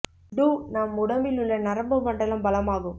two நம் உடம்பிலுள்ள நரம்பு மண்டலம் பலமாகும்